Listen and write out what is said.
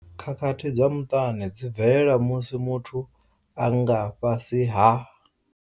Khakhathi dza muṱani dzi bvelela musi muthu a nga fhasi ha.